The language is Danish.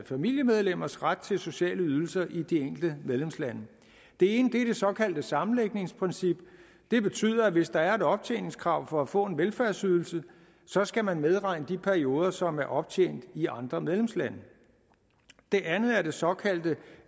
familiemedlemmers ret til sociale ydelser i de enkelte medlemslande det ene er det såkaldte sammenlægningsprincip det betyder at hvis der er et optjeningskrav for at få en velfærdsydelse så skal man medregne de perioder som er optjent i andre medlemslande det andet er det såkaldte